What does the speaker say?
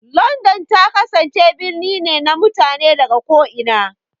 London ta kasance birni ne na mutane daga ko'ina.